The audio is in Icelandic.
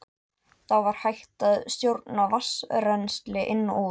Þá var hægt að stjórna vatnsrennsli inn og út.